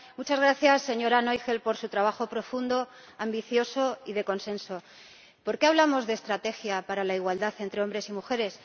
muchas gracias, señora Noichl, por su trabajo profundo, ambicioso y de consenso. ¿Por qué hablamos de estrategia para la igualdad entre hombres y mujeres?